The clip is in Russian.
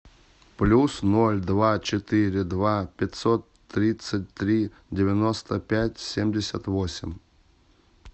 плюс ноль два четыре два пятьсот тридцать три девяносто пять семьдесят восемь